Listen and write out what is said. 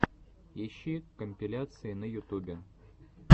ищи компиляции на ютубе